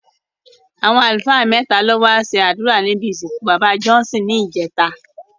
Àwọn àlùfáà mẹ́ta ló wá ṣe àdúrà níbi ìsìnkú bàbá Johnson ní ìjẹta